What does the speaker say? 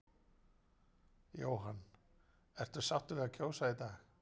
Jóhann: Ertu sáttur við að kjósa í dag?